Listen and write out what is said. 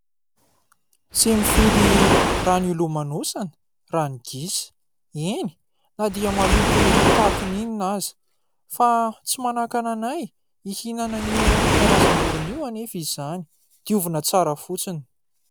Tsy mifidy rano hilomanosana raha ny gisa. Eny na dia maloto tahakan'inona aza. Fa tsy manakana anay hihinana an'io karazam-borona io anefa izany, diovina fotsiny.